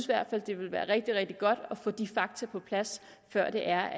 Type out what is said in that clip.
hvert fald det ville være rigtig rigtig godt at få de fakta på plads før